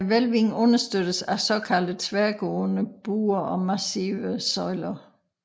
Hvælvingen understøttes af såkaldte tværgående buer og massive søjler